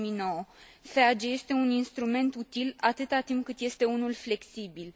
2009. FEAG este un instrument util, atâta timp cât este unul flexibil.